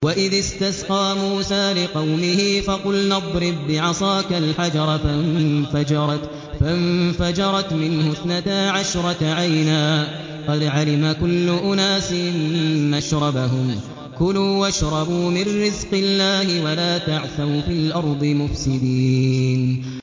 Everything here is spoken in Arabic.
۞ وَإِذِ اسْتَسْقَىٰ مُوسَىٰ لِقَوْمِهِ فَقُلْنَا اضْرِب بِّعَصَاكَ الْحَجَرَ ۖ فَانفَجَرَتْ مِنْهُ اثْنَتَا عَشْرَةَ عَيْنًا ۖ قَدْ عَلِمَ كُلُّ أُنَاسٍ مَّشْرَبَهُمْ ۖ كُلُوا وَاشْرَبُوا مِن رِّزْقِ اللَّهِ وَلَا تَعْثَوْا فِي الْأَرْضِ مُفْسِدِينَ